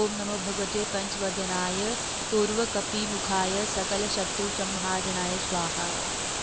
ॐ नमो भगवते पंचवदनाय पूर्वकपिमुखाय सकलशत्रुसंहारणाय स्वाहा